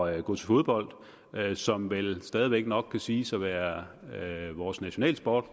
at gå til fodbold som vel stadig væk nok kan siges at være vores nationalsport